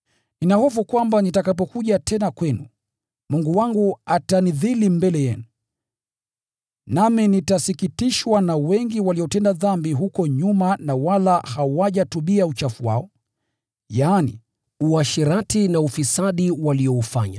Nina hofu kwamba nitakapokuja tena kwenu, Mungu wangu atanidhili mbele yenu, nami nitasikitishwa na wengi waliotenda dhambi mbeleni, na wala hawajatubu kwa uchafu wao, uasherati, na ufisadi walioushiriki.